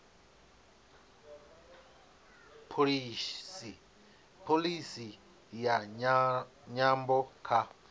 pholisi ya nyambo kha